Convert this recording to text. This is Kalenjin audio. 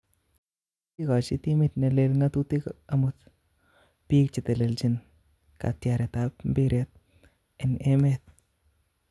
Kokigochi timit neleel ngatutik amut piik chetelelchin katyaretap mpiret en emeet